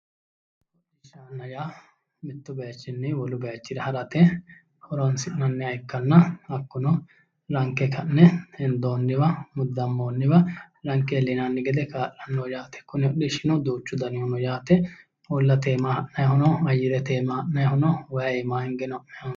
hodhishsha yaa mittu bayiichinni wole bayiicho harate horonsi'nanniha ikkanna hakkuno ranke ka'ne hendoonniwa muddammoonniwa ranke iillinanni gede kaa'lannoho yaate kuni hodhishshino duuchu danihu no yaate baattote iima ha'nannihu no ayyerete iima ha'nannihu no wayi iima hingeno ha'nannihu no.